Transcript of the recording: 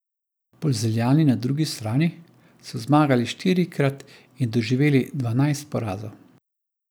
Polzeljani na drugi strani so zmagali štirikrat in doživeli dvanajst porazov.